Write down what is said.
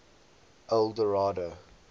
eldorado